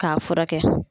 K'a furakɛ